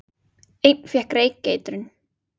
Einn fékk reykeitrun